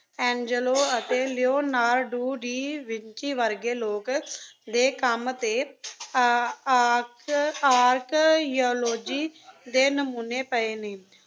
Angelo ਅਤੇ Leonardo da Vinci ਵਰਗੇ ਲੋਕ ਦੇ ਕੰਮ ਅਤੇ ਆਰ~ ਆਰਕ~ ਆਰਕਯਾਲੋਜੀ ਦੇ ਨਮੂਨੇ ਪਏ ਨੇ।